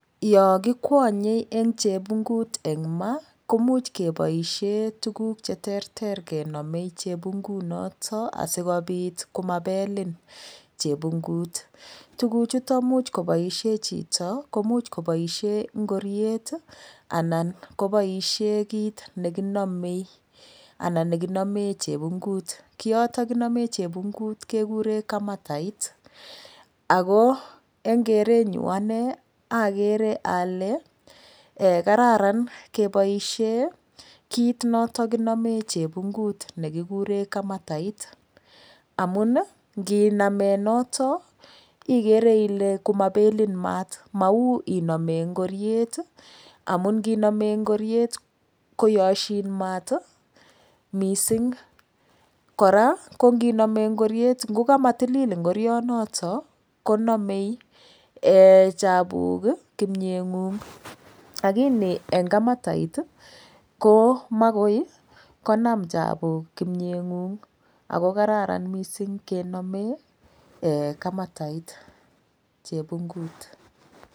Yokikwonyei eng chepungut eng ma komuch keboishe tukuuk che terter kenomei chepungut noto asikopit komapelin chepungut tukuchuton much koboisie chito komuch koboisien ngoriet anan koboisie kiit nekinamei anan nekinamee chepungut kioton kinome chepungut kekure kamatait ako eng kerenyu ane akere ale kararan keboishe kiit notokinome chepungut nekikure kamatait amun nginame noton ikere ile komapelin maat mau iname ngoriet amun nginamee ngoriet koyoshin maat mising kora konginomee ngoriet ngokamatilil ngorionoto konomei chapuk kimyeng'ung' lakini eng kamatait komakoi konam chapuk kimyeng'ung' ako kararan mising kenome kamatait chepungut.